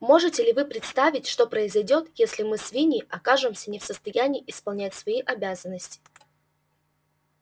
можете ли вы представить что произойдёт если мы свиньи окажемся не в состоянии исполнять свои обязанности